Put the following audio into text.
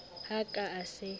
ha a ka a se